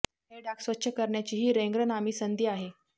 हे डाग स्वच्छ करण्याची ही र्ेंार नामी संधी आहे